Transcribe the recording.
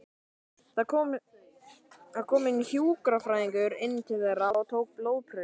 Það kom hjúkrunarfræðingur inn til þeirra og tók blóðprufur.